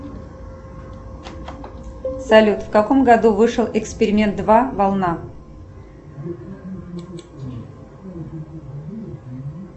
салют в каком году вышел эксперимент два волна